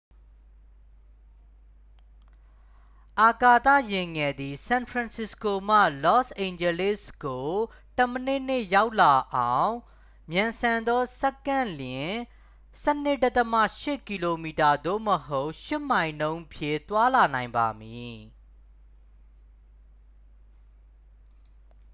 အာကာသယာဉ်ငယ်သည် ဆန်ဖရန်စစ္စကိုမှ လော့စ်အိန်ဂျလိစ်ကို တစ်မိနစ်နှင့် ရောက်လောက်အောင် မြန်ဆန်သော တစ်စက္ကန့်လျှင် 12.8 km သို့မဟုတ် 8 မိုင်နှုန်းဖြင့် သွားလာနိုင်ပါမည်